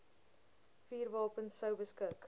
vuurwapens sou beskik